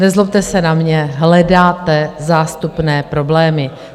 Nezlobte se na mě, hledáte zástupné problémy.